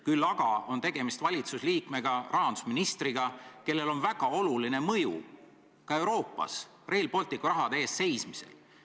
Küll aga on tegemist teie valitsuse liikmega, rahandusministriga, kellel on väga oluline mõju ka Euroopas Rail Balticu rahade eest seismisel.